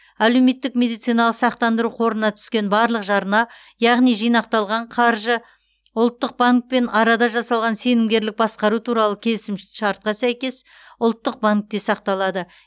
әлеуметтік медициналық сақтандыру қорына түскен барлық жарна яғни жинақталған қаржы ұлттық банкпен арада жасалған сенімгерлік басқару туралы келісімшартқа сәйкес ұлттық банкте сақталады